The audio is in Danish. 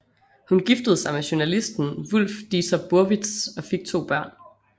Hun giftede sig med journalisten Wulf Dieter Burwitz og fik to børn